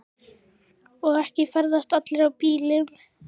Og ekki ferðast allir í bílum.